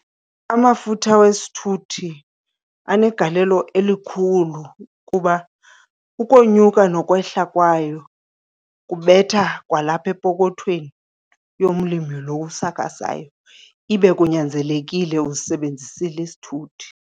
Amafutha wesithuthi anegalelo elikhulu kuba ukonyuka nokwehla kwayo kubetha kwalapha epokothweni yomlimi lo usakhasayo, ibe kunyanzelekile usisebenzisile isithuthi.